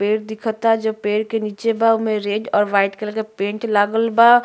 पेड़ दिखता जो पेड़ के नीचे बा ओमें रेड और वाइट कलर के पेंट लागल बा।